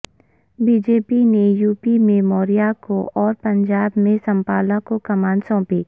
be J P نے UP میں موریہ کو اور پنجاب میں سانپلا کوکمان سونپی